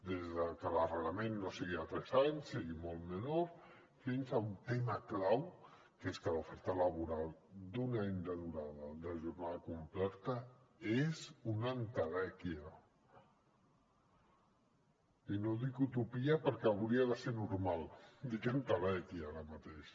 des de que l’arrelament no sigui de tres anys sigui molt menor fins a un tema clau que és que l’oferta laboral d’un any de durada de jornada completa és una entelèquia i no dic utopia perquè hauria de ser normal dic entelèquia ara mateix